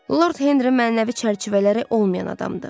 Lord Henri mənəvi çərçivələri olmayan adamdır.